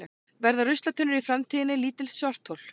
verða ruslatunnur í framtíðinni lítil svarthol